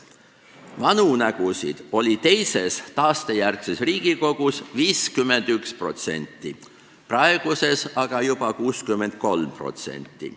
Vanu nägusid oli teises taastejärgses Riigikogus 51%, praeguses on aga juba 63%.